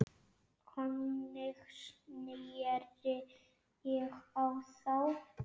Þannig sneri ég á þá.